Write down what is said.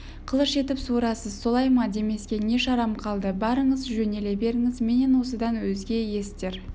қылыш етіп суырасыз солай ма демеске не шарам қалды барыңыз жөнеле беріңіз менен осыдан өзге есітер